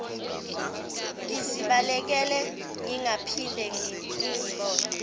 ngizibalekele ningaphinde ningibone